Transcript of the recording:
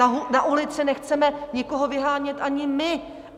Na ulici nechceme nikoho vyhánět ani my.